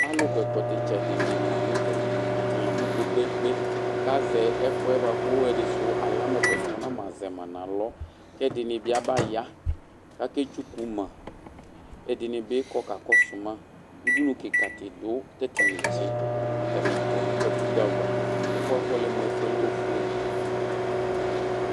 Alu kɔ ɛkɔtɔ itsɛdi dini la nutɛ atani abu kpekpekpe ku azɛ ɛkuɛ buaku ɛdi su alama ɛkuɛdi mɛ nam azɛ ma nu alɔ kɛdini bi abaya kaketsuku ma ɛdini bi kɔ kakɔsu ma kati du ɛdini kɔ nu katikpɔ ava ɛfuɛ afɔ lɛ mu ofue